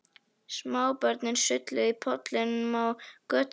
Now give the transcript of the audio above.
Smábörnin sulluðu í pollum á götunni.